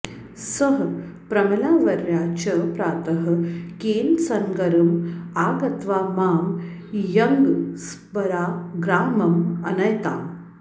सः प्रमिलावर्या च प्रातः केन्सनगरम् आगत्वा मां यन्ग्स्बराग्रामम् अनयताम्